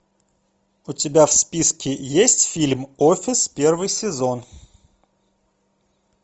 у тебя в списке есть фильм офис первый сезон